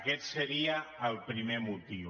aquest seria el primer motiu